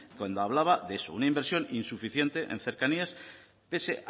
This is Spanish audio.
cuando hablaba de eso una inversión insuficiente en cercanías pese